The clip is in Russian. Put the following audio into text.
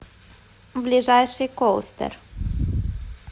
ближайший коустэр